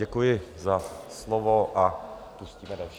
Děkuji za slovo a pustíme další.